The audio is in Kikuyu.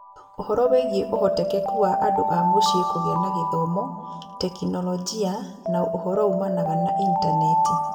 Ũhoro wĩgiĩ ũhotekeku wa andũ a mũciĩ kũgĩa na gĩthomo, tekinolonjĩ, na ũhoro umanaga na intaneti.